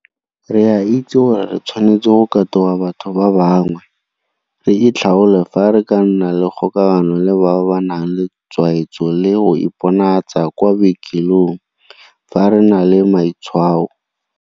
Re a itse gore re tshwanetse go katoga batho ba bangwe, re itlhaole fa re ka nna le kgokagano le bao ba nang le tshwaetso le go iponatsa kwa bookelong fa re na le matshwao.